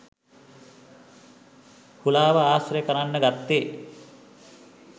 හුලා ව ආශ්‍රය කරන්න ගත්තේ